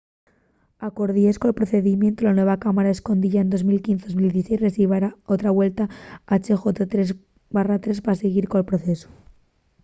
acordies col procedimientu la nueva cámara escoyida en 2015 ó 2016 revisará otra vuelta hjr-3 pa siguir col procesu